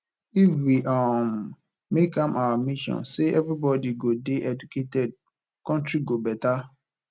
if we um make am our mission say everybody go dey educated country go better